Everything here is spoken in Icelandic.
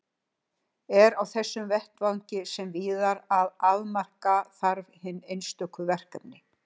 Er á þessum vettvangi sem víðar að afmarka þarf hin einstöku verkefni.